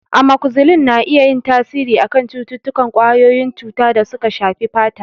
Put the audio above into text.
Amokzisilin na iya yin tasiri a kan cututtukan ƙwayoyin cuta da suka shafi fata.